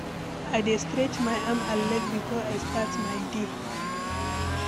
I dey stretch my arm and leg before I start my day.